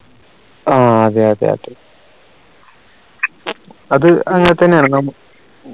ആഹ് അതെ അതെയതെ അത് അങ്ങനെ തന്നെയാണ് നമു